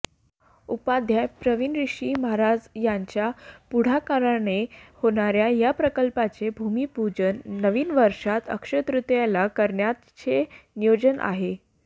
उपाध्याय प्रवीणऋषी महाराज यांच्या पुढाकाराने होणाऱ्या या प्रकल्पाचे भूमिपूजन नवीन वर्षात अक्षय्यतृतीयेला करण्याचे नियोजन आहे